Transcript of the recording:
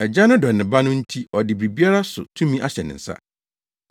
Agya no dɔ ne Ba no nti ɔde biribiara so tumi ahyɛ ne nsa.